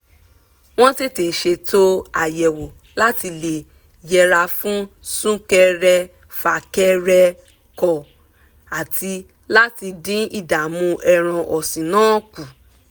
wọ́n tètè ṣètò àyẹ̀wò láti lè yẹra fún súkẹrẹfà kẹrẹkọ̀ àti láti dín ìdààmú ẹran ọ̀sìn náà kù